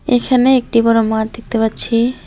এইখানে একটি বড়ো মাঠ দেখতে পাচ্ছি।